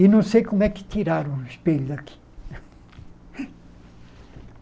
E não sei como é que tiraram o espelho daqui.